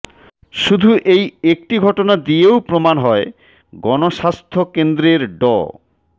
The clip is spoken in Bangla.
শুধু এই একটি ঘটনা দিয়েও প্রমাণ হয় গণস্বাস্থ্য কেন্দ্রের ড